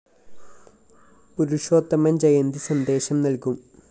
പുരുഷോത്തമന്‍ ജയന്തി സന്ദേശം നല്‍കും